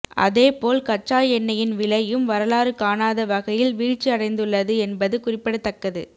அதேபோல் கச்சா எண்ணெயின் விலையும் வரலாறு காணாத வகையில் வீழ்ச்சி அடைந்துள்ளது என்பது குறிப்பிடத்தக்கது